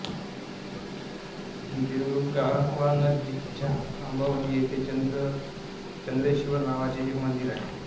देवरुख गावानजीकच्या आंबवली येथे चंद्रेश्वर नावाचे एक मंदिर आहे